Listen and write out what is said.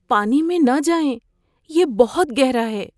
پانی میں نہ جائیں۔ یہ بہت گہرا ہے!